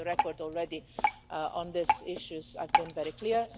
I'm on the record already on these issues, I've been very clear.